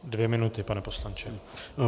Dvě minuty, pane poslanče.